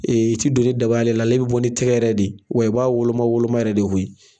I ti don ni daba ale la, ale bɛ bɔ ni tigɛ yɛrɛ de wa i b'a woloma woloma yɛrɛ de koyi.